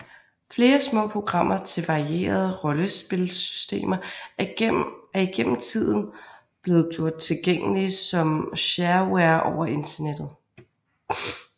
Flere små programmer til varierende rollespilsystemer er igennem tiden blevet gjort tilgængelige som shareware over Internettet